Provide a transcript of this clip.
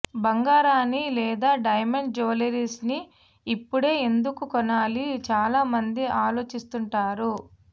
బంగారాన్ని లేదా డైమండ్ జ్యువెలరీని ఇప్పుడే ఎందుకు కొనాలి చాలా మంది ఆలోచిస్తుంటారు